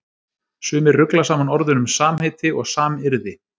Sumir rugla saman orðunum samheiti og samyrði.